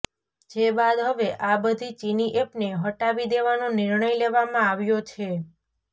જે બાદ હવે આ બધી ચીની એપને હટાવી દેવાનો નિર્ણય લેવામાં આવ્યો છે